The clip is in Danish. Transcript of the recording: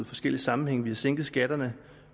forskellige sammenhænge vi har sænket skatterne